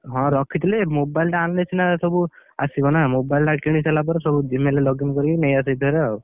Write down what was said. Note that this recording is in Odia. ହଁ ରଖିଥିଲି ଯେ mobile ଟା ଆଣିଲେ ସିନା ସବୁ, ଆସିବନା mobile ଟା କିଣିସାଇଲା ପରେ ସବୁ Gmail ରେ login କରିକି ନେଇଆସିବି